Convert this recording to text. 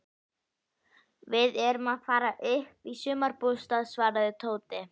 Við erum að fara upp í sumarbústað svaraði Tóti.